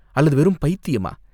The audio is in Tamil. அல்லது வெறும் பைத்தியமா?